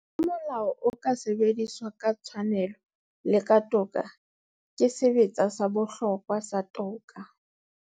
Ha molao o ka sebediswa ka tshwanelo le ka toka, ke sebetsa sa bohlokwa sa toka.